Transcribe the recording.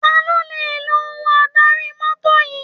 Ta ló le lo ohun adarí mọ́tò yìí?